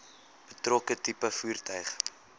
betrokke tipe voertuig